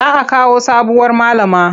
Za a kawo sabuwar malama.